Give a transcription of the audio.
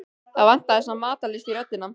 Það vantaði samt matarlyst í röddina.